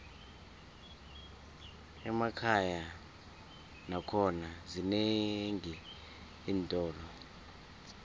emakhaya nakhona zinenqi iintolo